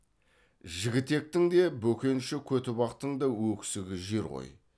жігітектің де бөкенші көтібақтың да өксігі жер ғой